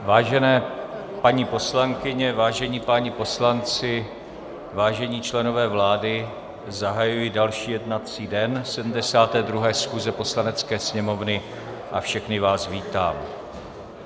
Vážené paní poslankyně, vážení páni poslanci, vážení členové vlády, zahajuji další jednací den 72. schůze Poslanecké sněmovny a všechny vás vítám.